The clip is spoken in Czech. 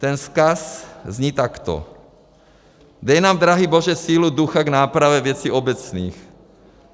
Ten vzkaz zní takto: Dej nám, drahý Bože, sílu ducha k nápravě věcí obecných.